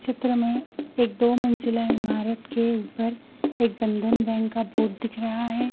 चित्र में एक दो मंजिला इमारत के ऊपर एक बंधन बैंक का बोर्ड दिख रहा है।